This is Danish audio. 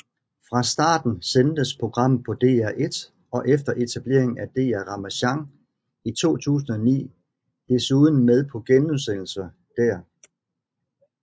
Fra starten sendtes programmet på DR1 og efter etableringen af DR Ramasjang i 2009 desuden med genudsendelser der